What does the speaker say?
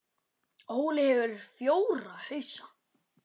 Óli hefur fjóra hausa.